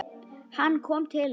Hann kom til hennar.